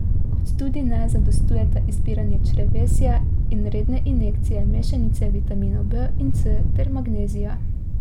Kot tudi ne zadostujeta izpiranje črevesja in redne injekcije mešanice vitaminov B in C ter magnezija.